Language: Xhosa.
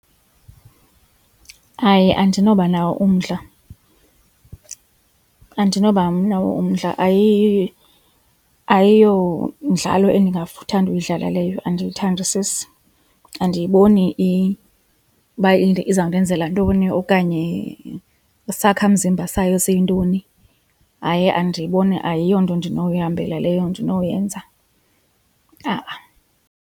Hayi, andinoba nawo umdla, andinoba nawo umdla ayiyo mdlalo endingathanda ukuyidlala leyo andiyithandisisi. Andiyiboni uba izawundenzela ntoni okanye isakhamzimba sayo siyintoni, hayi andiyiboni ayiyonto ndinowuyihambela leyo ndinowuyenza a-a.